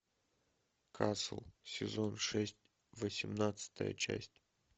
касл сезон шесть восемнадцатая часть